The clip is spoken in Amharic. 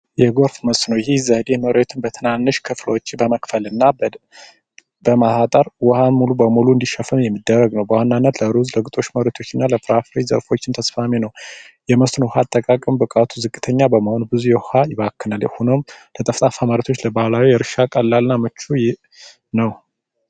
የጎርፍ መስኖ ይህ ዘዴ መሬትን በትናንሽ ክፍሎች በመክፈልና በማጠር ውሃን ሙሉ በሙሉ እንዲሸፈን የሚደረግ ነው። በዋናነት ለሩዝ፣ ለግጦሽ ለፍራፍሬ ዘርፎችም ተስማሚ ነው። የመስኖ ኣጠቃቀም ብቃቱ ዝቅተኛ በመሆኑ ብዙ ውሃ ይባክናል። የሆነውም ለጠፍጣፋ መሬቶች ነባራዊ እርሻ ቀላልና ምቹ ነው።